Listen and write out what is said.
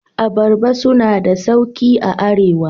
Abaraba suna na da sauƙi a Arewa.